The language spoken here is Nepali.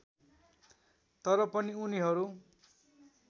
तर पनि उनीहरू